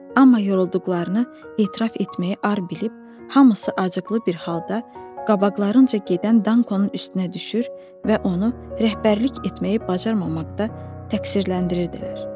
Amma yorulduqlarını etiraf etməyə ar bilib hamısı acıqlı bir halda qabaqlarınca gedən Danqonun üstünə düşür və onu rəhbərlik etməyi bacarmamaqda təqsirləndirirdilər.